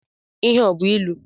Ihe a ọ bú ịlụ?